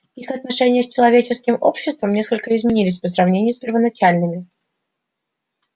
их отношения с человеческим обществом несколько изменились по сравнению с первоначальными